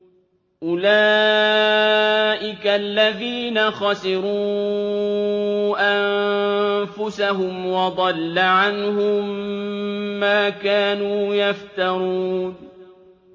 أُولَٰئِكَ الَّذِينَ خَسِرُوا أَنفُسَهُمْ وَضَلَّ عَنْهُم مَّا كَانُوا يَفْتَرُونَ